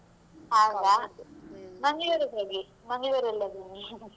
ಹೌದಾ, Mangalore ಇಗೆ ಹೋಗಿ Mangalore ಲ್ಲೆಲ್ಲಾದ್ರೂ